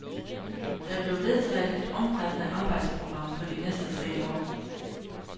Der blev vedtaget et omfattende arbejdsprogram for de næste tre år.